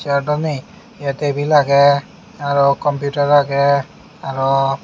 sear dw nei ye tebil agey arow kompiutar agey arow.